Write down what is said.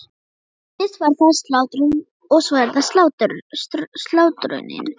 Fyrst var það slátrunin- og svo er það slátrunin.